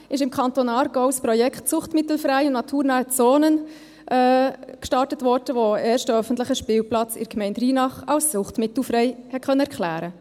2017 wurde im Kanton Aargau das Projekt «Suchtmittelfreie naturnahe Zonen» gestartet, mit dem ein erster öffentlicher Spielplatz in der Gemeinde Reinach als suchtmittelfrei erklärt werden konnte.